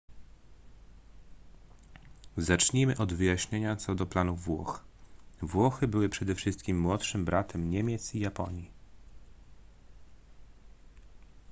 zacznijmy od wyjaśnienia co do planów włoch włochy były przede wszystkim młodszym bratem niemiec i japonii